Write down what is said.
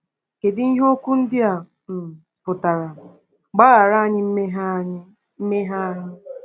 Kedu ihe okwu ndị a um pụtara: “Gbaghara anyị mmehie anyị mmehie anyị”?